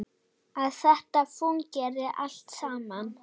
Að þetta fúnkeri allt saman.